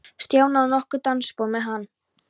Stjána og tók nokkur dansspor með hann.